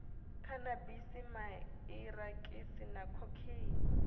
khanabisi man irakisi na khokheini